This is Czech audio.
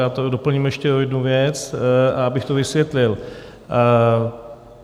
Já to doplním ještě o jednu věc, abych to vysvětlil.